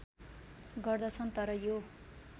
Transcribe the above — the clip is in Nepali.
गर्दछन् तर यो